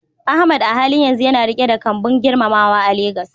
Ahmad a halin yanzu yana riƙe da kambun girmamawa a Legas.